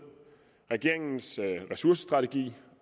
regeringens ressourcestrategi